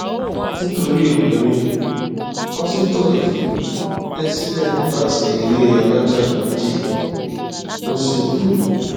nítorí obìnrin pásítọ yìí bẹ sílẹ láti ilé alájà méjì ó sì kú